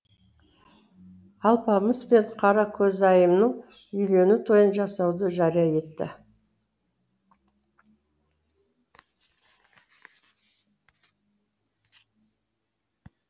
алпамыс пен қаракөзайымның үйлену тойын жасауды жария етті